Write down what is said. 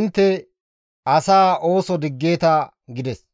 intte asaa ooso diggeeta» gides.